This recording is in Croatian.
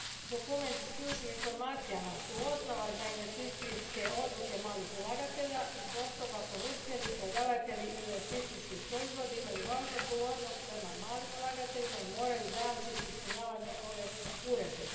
Dokumenti s ključnim informacijama su osnova za investicijske odluke malih ulagatelja i zbog toga ponuditelji i prodavatelji investicijskih proizvoda imaju važnu odgovornost prema malim ulagateljima i moraju zajamčiti ispunjavanje ove uredbe.